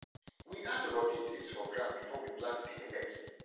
we add rotty things for ground before we plant dey millet